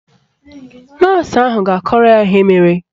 Nọọsụ ahụ ga-akọrọ ya ihe mere